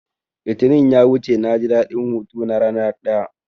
Litinin ya wuce naji daɗin hutu na rana ɗaya